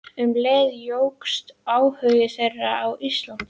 Um leið jókst áhugi þeirra á Íslandi.